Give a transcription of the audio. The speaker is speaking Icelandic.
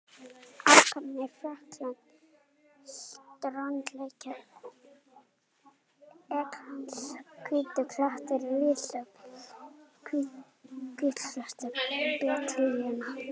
Alparnir, Frakkland, strandlengja Englands, hvítir klettar risu við hlið hvítklæddra beitilanda.